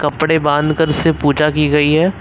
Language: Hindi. कपड़े बांधकर से पूजा की गई है।